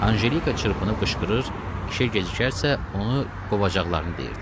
Anjelika çırpınıb qışqırır, işə gecikərsə, onu qovacaqlarını deyirdi.